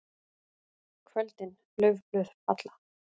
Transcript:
KVÖLDIN LAUFBLÖÐ FALLA.